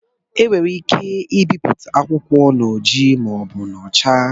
E nwere ike ibipụta akwụkwọ n'ojii ma ọ bụ n'ọcha.